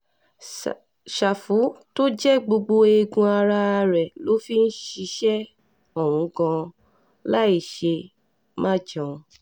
ṣàfù tó jẹ́ gbogbo eegun ara ẹ̀ ló fi ń ṣiṣẹ́ òun gan-an láìṣe-má-jẹun